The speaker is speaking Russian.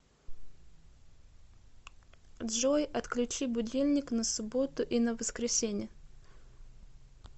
джой отключи будильник на субботу и на воскресенье